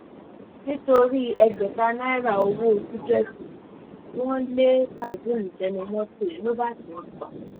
nítorí ẹgbẹ̀ta náírà owó tíkẹ́ẹ̀tì wọn lé kazeem sẹ́nu mọ́tò ló bá tẹ̀ é pa